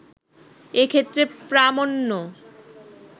এক্ষেত্রে প্রামান্য